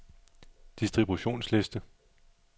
distributionsliste